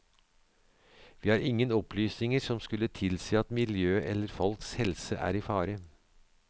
Vi har ingen opplysninger som skulle tilsi at miljøet eller folks helse er i fare.